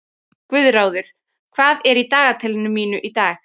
Guðráður, hvað er í dagatalinu mínu í dag?